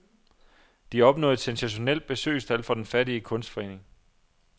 De opnåede et sensationelt besøgstal for den fattige kunstforening.